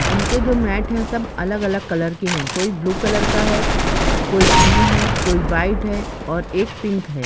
उनके जो मैट है सब अलग अलग कलर के है कोई ब्लू कलर का है कोई ग्रीन है कोई वाइट है और एक पिंक है।